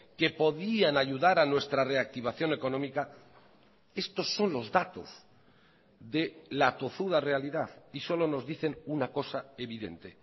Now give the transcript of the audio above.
que podían ayudar a nuestra reactivación económica estos son los datos de la tozuda realidad y solo nos dicen una cosa evidente